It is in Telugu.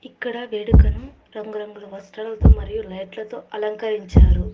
ఇక్కడ వేడుకను రంగురంగుల వస్త్రాలతో మరియు లైట్లతో అలంకరించారు.